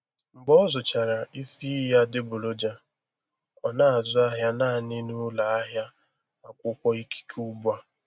Mgbe ọ zụchara isi iyi adịgboroja, ọ na-azụ ahịa naanị n'ụlọ ahịa akwụkwọ ikike ugbu a.